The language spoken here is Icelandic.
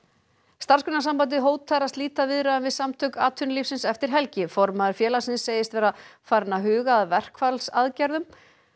Starfsgreinasambandið hótar að slíta viðræðum við Samtök atvinnulífsins eftir helgi formaður félagsins segist vera farinn að huga að verkfallsaðgerðum